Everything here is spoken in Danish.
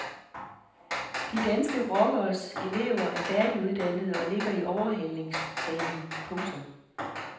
De danske rockeres elever er færdiguddannede og ligger i overhalingsbanen. punktum